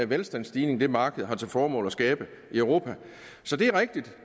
velstandsstigning det marked har til formål at skabe i europa så det er rigtigt